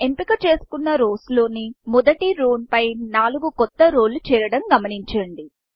ఎంపిక చేసుకున్నrows లోని మొదటి రౌ రోపై నాలుగు కొత్త రౌ రోలు చేరడం గమనించండి